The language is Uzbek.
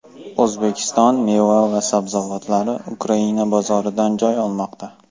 O‘zbekiston meva va sabzavotlari Ukraina bozorlaridan joy olmoqda.